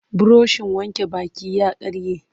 Burushin wanke baki ya karye.